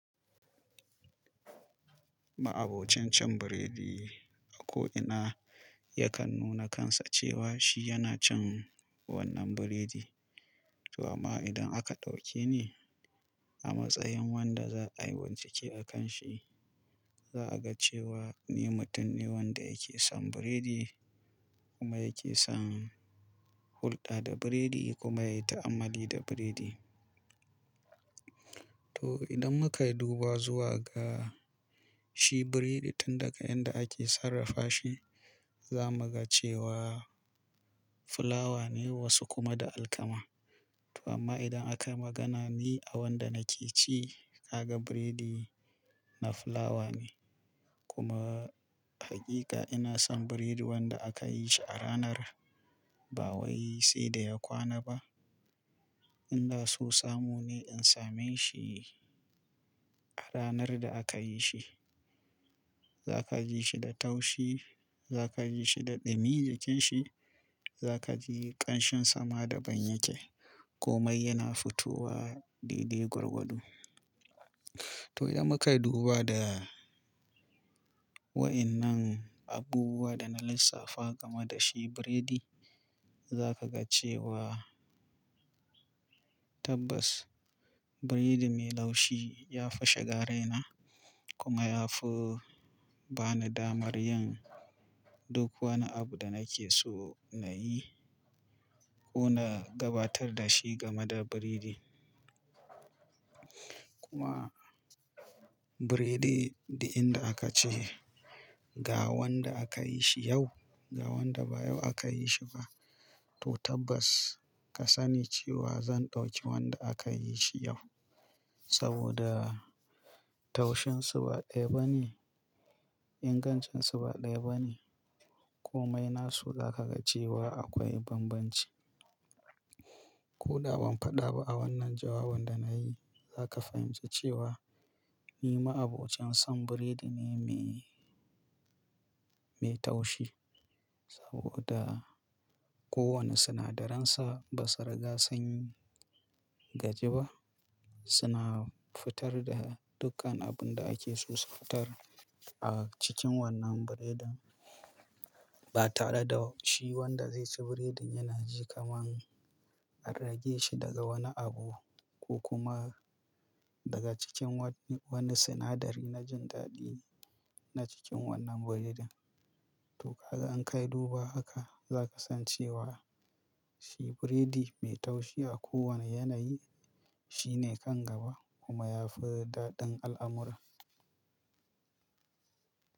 Ma'abocin cin biredi a ko ina yakan nuna kansa cewa shi yana cin wannan biredi. To amma idan aka ɗauke ni a matsayin wanda za a yi wancike akan shi, za a ga cewa ni mutum ne wanda yake son biredi kuma yake son hulɗa da biredi kuma yai ta'amalli da biredi. To idan muka yi duba zuwa ga shi biredi tun daga inda ake sarrafa shi, za mu ga cewa fulawa ne wasu kuma da alkama. To amma idan akayi magana ne a wanda nake ci, ka ga biredi na fulawa ne. Kuma hakika ina son biredin wanda aka yi shi a ranar, ba wai sai da ya kwana ba. Inda so samu ne in same shi a ranar da aka yi shi. Za ka ji shi da taushi, za ka ji shi da ɗumi jikin shi, za ka ji ƙanshin sama da ban yake, komai yana fitowa daidai gwarwado. To idan mukai duba da wa'innan abubuwa da na lissafa game da shi biredi, za ka ga cewa tabbas biredi mai laushi ya fi shiga raina kuma ya fi ba ni damar yin duk wani abu da nake so na yi ko na gabatar da shi game da biredi. Kuma biredi, duk inda aka ce, ga wanda aka yi shi yau, ga wanda ba yau aka yi shi ba. To tabbas ka sani cewa zan ɗauki wanda aka yi shi yau saboda taushin su ba ɗaya ba ne, ingancin su ba ɗaya ba ne, komai nasu za ka ga cewa akwai bambanci. Koda ban fada a wannan jawabin da nayi zaka fahimci cewa ni ma'abocin son biredi ne me me taushi, saboda kowane sinadaransa basu riga sun gaji ba suna fitar da dukkan abinda ake so su fitar a cikin wannan biredin. Ba tare da shi wanda zai ci biredin yana kaman a rage shi daga wani abu ko kuma. Daga cikin wani sinadari na jin dadi na cikin wannan biredin, to kaga in kai duba zaka ga cewa shi biredi me taushi a kowane yanayi shine kan gaba kuma yafi dadin al'amura.